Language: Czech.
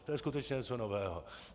To je skutečně něco nového.